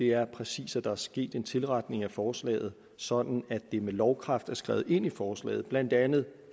er præcis at der er sket en tilretning af forslaget sådan at det med lovkraft er skrevet ind i forslaget blandt andet